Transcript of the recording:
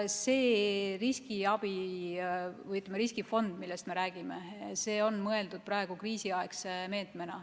See riskifond, millest me räägime, on mõeldud kriisiaegse meetmena.